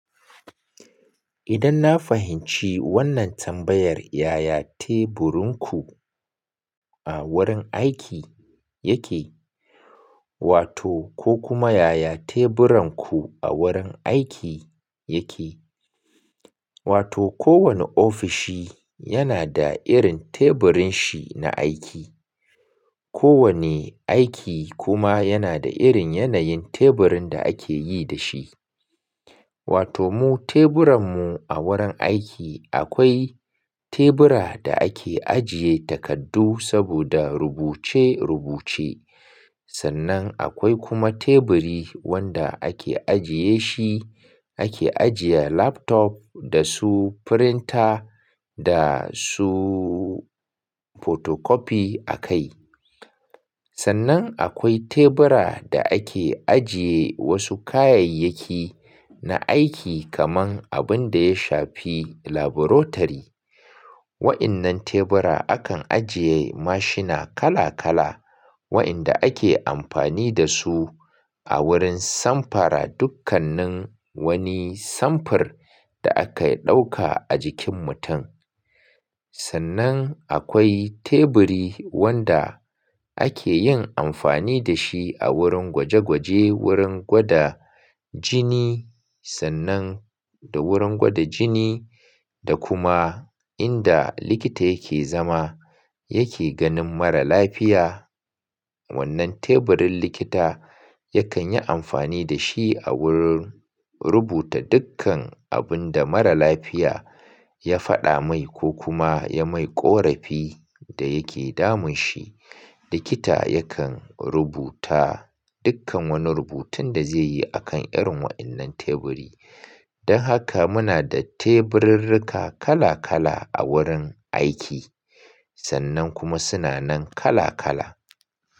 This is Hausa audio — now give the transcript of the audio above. Idan na fahimci wannan tambayar, yaya teburinku a wurin aiki yake? Wato ko kuma yaya teburanku a wurin aiki yake? Wato kowane ofishi yana da irin teburin shi na aiki. Kowane aiki kuma yana da irin yanayin teburin da ake yi da shi. Wato mu teburan mu a wurin aiki akwai, tebura da ake ajiye takardu saboda rubuce-rubuce. Sannan akwai kuma teburi wanda ake ajiye shi, ake ajiye laptop da su printer, da su photocopi a kai. Sannan akwai tebura da ake ajiye wasu kayayyaki na aiki, kaman abin da ya shafi laburatori. Wa'innan tebura akan ajiye mashina kala-kala, wa'inda ake amfani da su a wurin samfara dukkanin wani samfir da aka ɗauka a jikin mutum. Sannan akwai teburi wanda ake yin amfani da shi a wurin gwaje-gwaje, wurin gwada jini, sannan da wurin gwada jini da kuma inda likita yake zama, yake ganin mara lafiya. Wannan teburin likita yakan yi amfani da shi a wurin rubuta dukkan abin da mara lafiya ya faɗa mai ko kuma ya mai ƙorafi da yake damun shi. Likita yakan rubuta dukkan wani rubutun da zai yi, a kan irin wa'innan teburi. Don haka muna da teburirrika kala-kala a wurin aiki sannan kuma suna nan kala-kala.